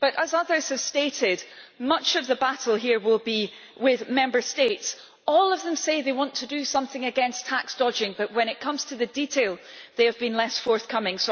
But as others have stated, much of the battle here will be with Member States. All of them say they want to do something against tax dodging, but when it comes to the detail they have been less forthcoming.